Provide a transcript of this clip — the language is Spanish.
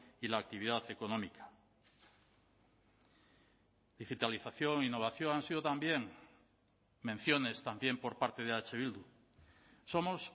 y la actividad económica digitalización innovación han sido también menciones también por parte de eh bildu somos